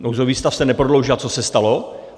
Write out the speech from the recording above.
Nouzový stav se neprodloužil, a co se stalo?